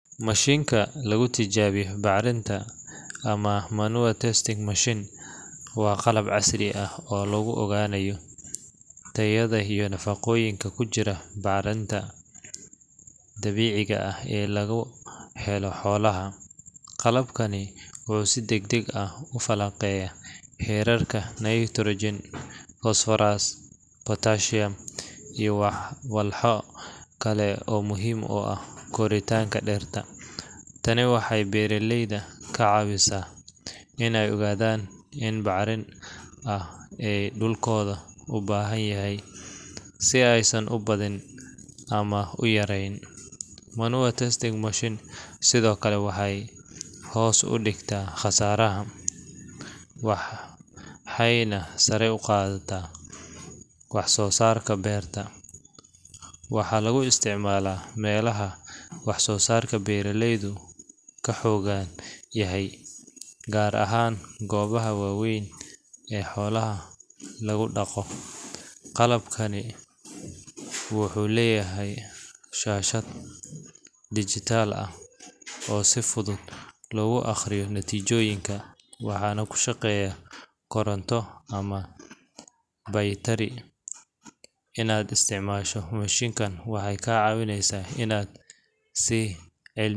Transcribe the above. Mashiinka lagu tijaabiyo bacrinta, ama manure testing machine, waa qalab casri ah oo lagu ogaanayo tayada iyo nafaqooyinka ku jira bacriminta dabiiciga ah ee laga helo xoolaha. Qalabkani wuxuu si degdeg ah u falanqeeyaa heerarka nitrogen, phosphorus, potassium, iyo walxo kale oo muhiim u ah koritaanka dhirta. Tani waxay beeraleyda ka caawisaa in ay ogaadaan inta bacrin ah ee dhulkooda u baahan yahay, si aysan u badin ama u yareyn. Manure testing machine sidoo kale waxay hoos u dhigtaa khasaaraha, waxayna sare u qaaddaa wax soo saarka beerta. Waxaa lagu isticmaalaa meelaha wax soo saarka beeraleydu ka xooggan yahay, gaar ahaan goobaha waaweyn ee xoolaha laga dhaqo. Qalabkani wuxuu leeyahay shaashad digital ah oo si fudud loogu akhriyo natiijooyinka, waxaana ku shaqeeya koronto ama baytari. Inaad isticmaasho mashiinkan waxay kaa caawinaysaa inaad si cilmiyeed.